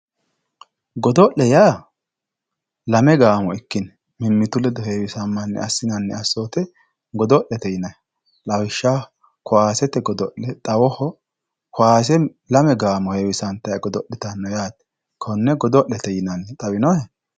godo'le yaa lame gaamo ikkine mimmitu ledo heewisammanni assi'nannita godo'lete yinanni lawishshaho, kowaasete godo'le xawoho kowaase lame gaamo heewisantanni godo'litanno yaate, konne godo'lete yinanni xawinohe